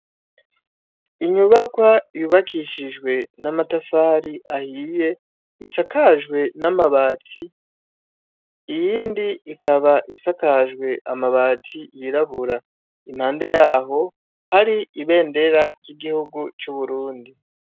Inyubakwa yubakishijwe, n'amatafari ahiye, isakajwe n'amabati, iyindi ikaba isakajwe amabati yirabura . Impande yaho hari ibendera ry'igihugu c' Uburundi.